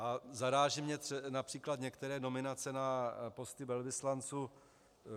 A zarážejí mě například některé nominace na posty velvyslanců.